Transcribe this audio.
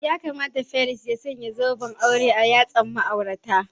Ya kamata firist ya sanya zoben aure a yatsan ma'auratan.